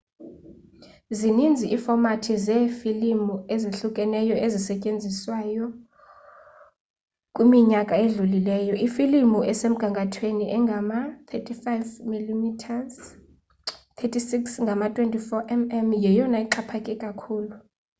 zininzi iifomathi zeefilimu ezahlukeneyo ezisetyenzisiweyo kwiminyaka edlulileyo. ifilimu esemgangathweni engama-35 mm 36 ngama-24 mm yeyona ixhaphake kakhulu